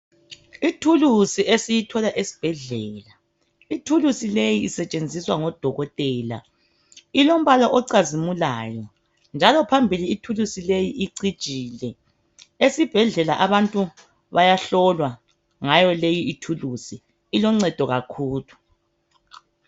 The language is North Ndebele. Ithulusi esiyithola esibhedlela ithulusi leyi isetshenziswa ngodokotela ilombala ocazimulayo njalo phambili ithuluzi leyi icijile esibhedlela abantu bayahlolwa ngayo leyi ithulusi iloncedo kakhulu.